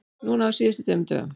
Núna á síðustu tveimur dögum.